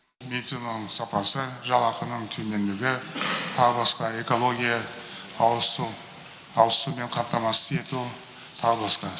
медицинаның сапасы жалақының төмендігі тағы басқа экология ауыз сумен қамтамасыз ету тағы басқа